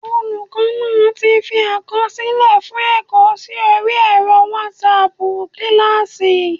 Olùkọ́ náa ti fi àkọsílẹ̀ fún ẹ̀kọ́ sí orí ẹ̀rọ wásaàpù kílásì